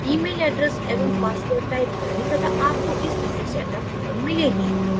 email address एवं password type करें तथा आपको इस तरह सेटअप फाइल मिलेगी